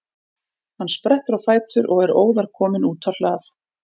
Hann sprettur á fætur og er óðar kominn út á hlað.